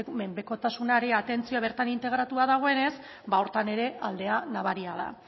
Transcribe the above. menpekotasunaren atentzioa bertan integratua dagoenez ba horretan ere aldea nabaria da